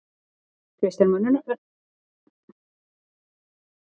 Kristján Már Unnarsson: Ertu farinn að græða á þessu?